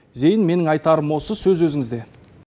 зейін менің айтарым осы сөз өзіңізде